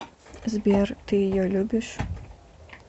сбер ты ее любишь